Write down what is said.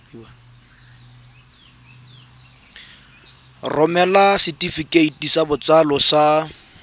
romela setefikeiti sa botsalo sa